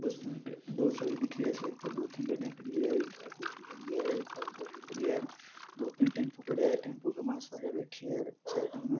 दो सड़क दिख रिया सड़क पर दो तीन गाड़िया है एक धोळा कलर की गाड़ी है एक काला कलर की गाड़ी है दो तीन टम्पू खड़ा है टम्पू में मास्क लगाए बेठ्या है साइड में --